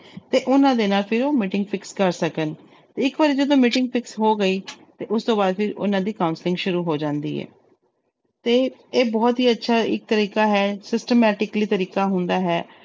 ਤੇ ਉਹਨਾਂ ਦੇ ਨਾਲ ਫਿਰ ਉਹ meeting fix ਕਰ ਸਕਣ, ਇੱਕ ਵਾਰੀ ਜਦੋਂ meeting fix ਹੋ ਗਈ ਤੇ ਉਸ ਤੋਂ ਬਾਅਦ ਫਿਰ ਉਹਨਾਂ ਦੀ counselling ਸ਼ੁਰੂ ਹੋ ਜਾਂਦੀ ਹੈ ਤੇ ਇਹ ਬਹੁਤ ਹੀ ਅੱਛਾ ਇੱਕ ਤਰੀਕਾ ਹੈ systematically ਤਰੀਕਾ ਹੁੰਦਾ ਹੈ।